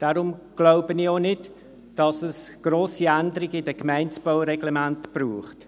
Deshalb glaube ich auch nicht, dass es grosse Änderungen in den Baureglementen der Gemeinden braucht.